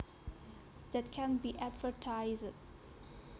That can be advertized